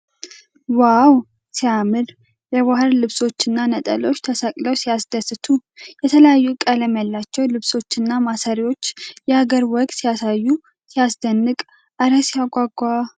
ዋው ሲያምር ! የባህል ልብሶችና ነጠላዎች ተሰቅለው ሲያስደስቱ ! የተለያዩ ቀለም ያላቸው ልብሶችና ማሰሪያዎች የአገር ወግ ሲያሳዩ ሲያስደንቅ ! እረ ሲያጓጓ !